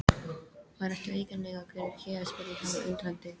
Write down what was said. Hvað ertu eiginlega að gera hér? spurði hann undrandi.